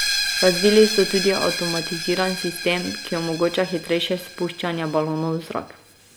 Razvili so tudi avtomatiziran sistem, ki omogoča hitrejše spuščanje balonov v zrak.